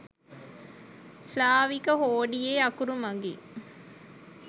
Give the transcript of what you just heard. ස්ලාවික හෝඩියේ අකුරු මගින්